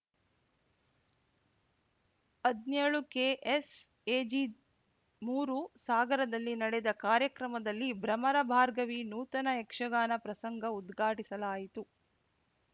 ಹದ್ನ್ಯೋಳುಕೆಎಸ್‌ಎಜಿಮೂರು ಸಾಗರದಲ್ಲಿ ನಡೆದ ಕಾರ್ಯಕ್ರಮದಲ್ಲಿ ಭ್ರಮರ ಭಾರ್ಗವಿ ನೂತನ ಯಕ್ಷಗಾನ ಪ್ರಸಂಗ ಉದ್ಘಾಟಿಸಲಾಯಿತು